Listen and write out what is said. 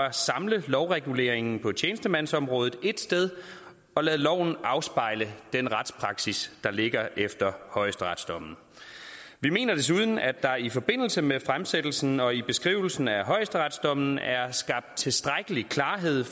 at samle lovreguleringen på tjenestemandsområdet ét sted og lade loven afspejle den retspraksis der ligger efter højesteretsdommen vi mener desuden at der i forbindelse med fremsættelsen og i beskrivelsen af højesteretsdommen er skabt tilstrækkelig klarhed